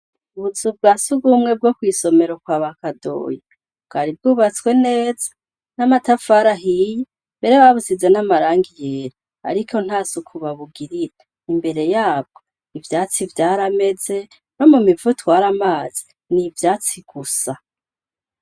Ubuzu bwa sugumwe bwo kw'isomero kwa ba Kadoyi, bwari bwubatswe neza n'amatafara ahiye, mbere babusize n'amarangi yera ariko nta suku babugirira, imbere yabwo ivyatsi vyarameze, no mu mivo itwara amazi, ni ivyatsi gusa.